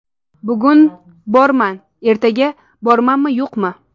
Bugun borman, ertaga bormanmi-yo‘qmi?!